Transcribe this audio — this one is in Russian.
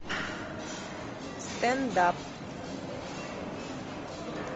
стенд ап